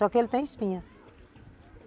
Só que ele tem espinha.